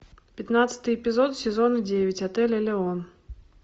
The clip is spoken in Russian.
пятнадцатый эпизод сезон девять отель элеон